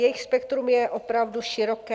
Jejich spektrum je opravdu široké.